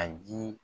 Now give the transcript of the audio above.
A ji